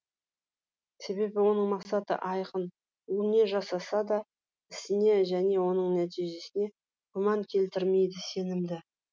себебі оның мақсаты айқын ол не жасаса да ісіне және оның нәтижесіне күмән келтірмейді сенімді